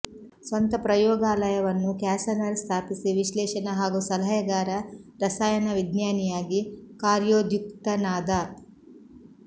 ಸ್ವಂತ ಪ್ರಯೋಗಾಲಯವನ್ನು ಕ್ಯಾಸನರ್ ಸ್ಥಾಪಿಸಿ ವಿಶ್ಲೇಷಣ ಹಾಗೂ ಸಲಹೆಗಾರ ರಸಾಯನವಿಜ್ಞಾನಿಯಾಗಿ ಕಾರ್ಯೋದ್ಯುಕ್ತನಾದ